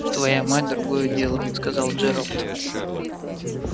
твоя мать другое дело сказал джералд